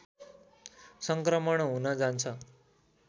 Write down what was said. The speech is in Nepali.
सङ्क्रमण हुन जान्छ